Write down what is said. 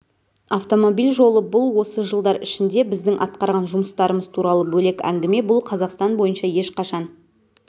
автомобиль жолы бұл осы жылдар ішінде біздің атқарған жұмыстарымыз туралы бөлек әңгіме бұл қазақстан бойынша ешқашан